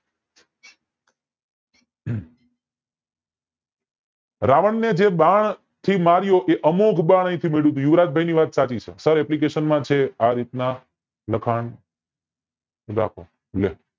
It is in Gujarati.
રાવણ ને જે બાણ થી માર્યો એ અમોઘ બાણ થી માર્યો યુવરાજભાઈ ની વાત સાચી છે સર application માં છે આ રીતે લખાણ રાખો લે